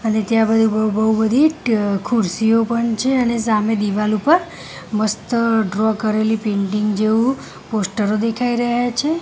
અને ત્યાં બધી બૌ બૌ બધી ખુરસીઓ પણ છે અને સામે દીવાલ ઉપર મસ્ત ડ્રો કરેલી પેન્ટિંગ જેવુ પોસ્ટરો દેખાઈ રહ્યા છે.